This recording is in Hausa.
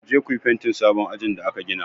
Ku je ku yi fentin sabon ajin da aka gina!